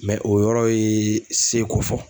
o yɔrɔ ye seko fɔ.